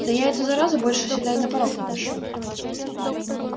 да я эту заразу больше сюда и на порог не пущу